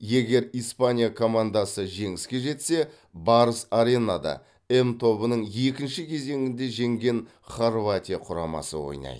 егер испания командасы жеңіске жетсе барыс аренада м тобының екінші кезеңінде жеңген хорватия құрамасы ойнайды